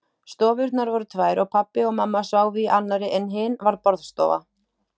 Stofurnar voru tvær og pabbi og mamma sváfu í annarri en hin var borðstofa.